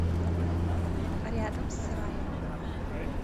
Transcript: рядом с раем